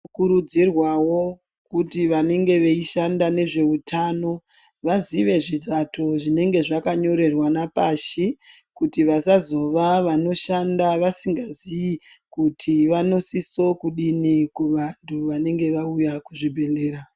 Tinokuridzirwawo kuti vanenge veishanda nezveutano vazive zvivato zvinenge zvakanyorerwana pashi kuti vanozova veishanda vasingazii kuti vanosiso kudini kuvantu vanenge vauya kuzvibhehlera.